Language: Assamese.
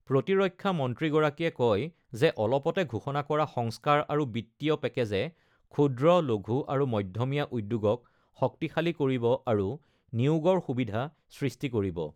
প্ৰতিৰক্ষা মন্ত্ৰীগৰাকীয়ে কয় যে অলপতে ঘোষণা কৰা সংস্কাৰ আৰু বিত্তীয় পেকেজে ক্ষূদ্ৰ, লঘূ আৰু মধ্যমীয়া উদ্যোগক শক্তিশালী কৰিব আৰু নিয়োগৰ সুবিধা সৃষ্টি কৰিব।